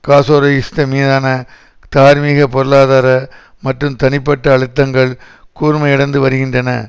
காசோரோஸ்கி மீதான தார்மீக பொருளாதார மற்றும் தனிப்பட்ட அழுத்தங்கள் கூர்மையடைந்து வருகின்றன